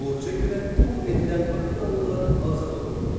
Borca görə qul edilən afinalılar azad olundu.